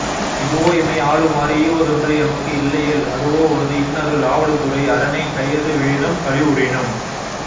இதுவோ எமை ஆளுமாறு ஈவதொன்று எமக்கு இல்லையேல் அதுவோ உனது இன்னருள் ஆவடுதுறை அரனே கையது விழினும் கழிவுறினும்